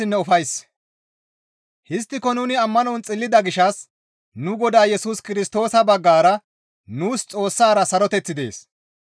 Histtiko nuni ammanon xillida gishshas nu Godaa Yesus Kirstoosa baggara nuus Xoossara saroteththi dees.